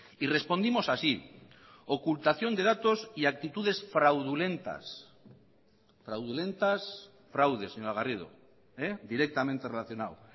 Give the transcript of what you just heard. y respondimos así ocultación de datos y actitudes fraudulentas fraudulentas fraude señora garrido directamente relacionado